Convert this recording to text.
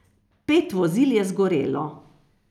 Pet vozil je zgorelo.